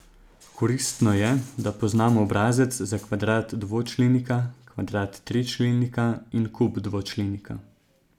Koristno je, da poznamo obrazec za kvadrat dvočlenika, kvadrat tričlenika in kub dvočlenika.